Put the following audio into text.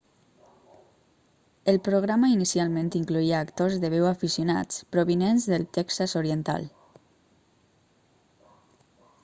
el programa inicialment incloïa actors de veu aficionats provinents del texas oriental